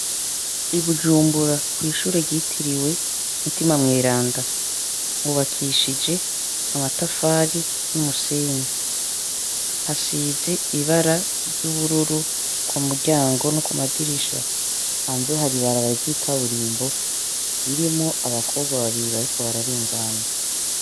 Ibujumbura kw'ishure ritiriwe mutima mweranda mubakishije amatafari n'umusenyi hasize ibara ry'ubururu ku muryango no ku madirisha hanze hari ibaraba ry'ikaburimbo ririmwo abakobwa babiri bariko bararenga anu.